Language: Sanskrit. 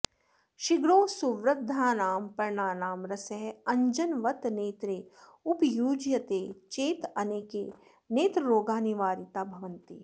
शिग्रो सुवृद्धानां पर्णानां रसः अञ्जनवत् नेत्रे उपयुज्यते चेत् अनेके नेत्ररोगाः निवारिताः भवन्ति